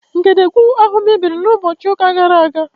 Ngedegwu ahụ mebiri na ụbọchị ụka gara aga